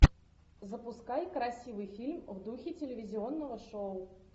запускай красивый фильм в духе телевизионного шоу